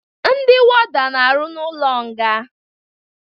Ndi wọda n'aru na ụlo nga